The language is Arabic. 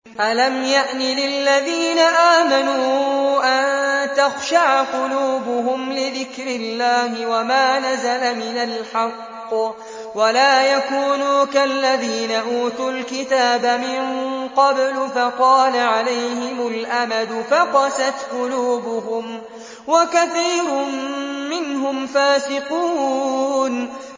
۞ أَلَمْ يَأْنِ لِلَّذِينَ آمَنُوا أَن تَخْشَعَ قُلُوبُهُمْ لِذِكْرِ اللَّهِ وَمَا نَزَلَ مِنَ الْحَقِّ وَلَا يَكُونُوا كَالَّذِينَ أُوتُوا الْكِتَابَ مِن قَبْلُ فَطَالَ عَلَيْهِمُ الْأَمَدُ فَقَسَتْ قُلُوبُهُمْ ۖ وَكَثِيرٌ مِّنْهُمْ فَاسِقُونَ